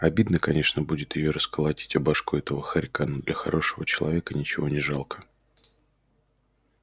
обидно конечно будет её расколотить о башку этого хорька но для хорошего человека ничего не жалко